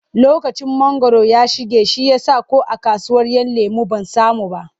Lokacin mangwaro ya shige shi ya sa ko a kasuwar ‘Yan lemo ban samu ba.